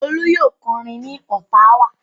Olú yóò kọrin ní Ottawa.